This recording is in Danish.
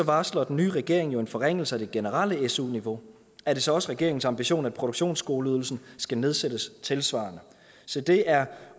varsler den nye regering jo en forringelse af det generelle su niveau er det så også regeringens ambition at produktionsskoleydelsen skal nedsættes tilsvarende se det er